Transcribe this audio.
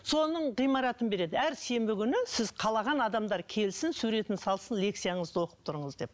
соның ғимаратын береді әр сенбі күні сіз қалаған адамдар келсін суретін салсын лекцияңызды оқып тұрыңыз деп